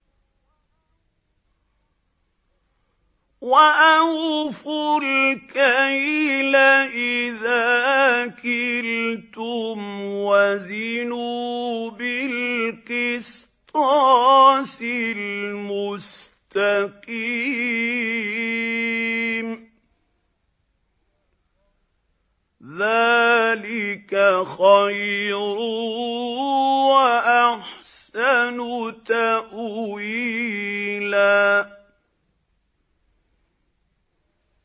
وَأَوْفُوا الْكَيْلَ إِذَا كِلْتُمْ وَزِنُوا بِالْقِسْطَاسِ الْمُسْتَقِيمِ ۚ ذَٰلِكَ خَيْرٌ وَأَحْسَنُ تَأْوِيلًا